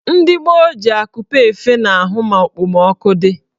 Ndị gboo ji akupe efe n'ahụ ma okpomọọkụ dị.